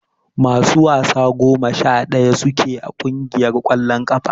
Masu wasa goma sha daya su ke a kungiyar kwallon kafa.